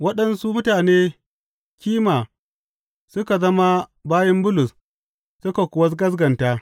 Waɗansu mutane kima suka zama mabiyan Bulus suka kuwa gaskata.